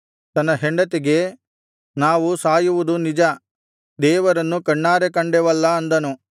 ತನ್ನ ಹೆಂಡತಿಗೆ ನಾವು ಸಾಯುವುದು ನಿಜ ದೇವರನ್ನು ಕಣ್ಣಾರೆ ಕಂಡೆವಲ್ಲಾ ಅಂದನು